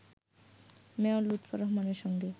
mayor Lutfur রহমানের সঙ্গে